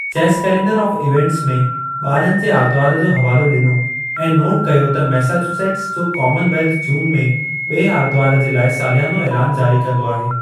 Chess calendar of events में ॿारनि जे आरितवार जो हवालो डि॒नो ऐं नोट कयो त मैसाचुसेट्स जो कामन वेल्थ जून में बि॒ए आरितवार जे लाइ सालियानो ऐलानु जारी कंदो आहे।